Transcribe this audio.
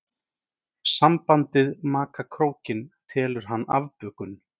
Sambandið maka krókinn telur hann afbökun.